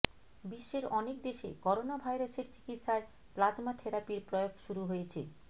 বিশ্বের অনেক দেশে করোনাভাইরাসের চিকিৎসায় প্লাজমা থেরাপির প্রয়োগ শুরু হয়েছে